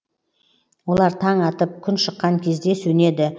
олар таң атып күн шыққан кезде сөнеді